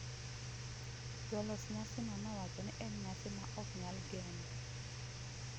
jolos nyasi no wacho ni en nyasi ma ok nyal gen